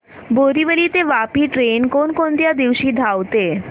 बोरिवली ते वापी ट्रेन कोण कोणत्या दिवशी धावते